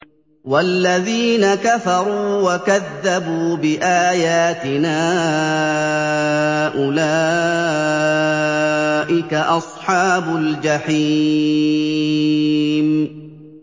وَالَّذِينَ كَفَرُوا وَكَذَّبُوا بِآيَاتِنَا أُولَٰئِكَ أَصْحَابُ الْجَحِيمِ